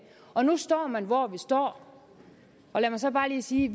og nu står man hvor man står og lad mig så bare lige sige